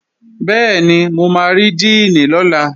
Bẹ́ẹ̀ni, mo máa rí díìnì lọ́la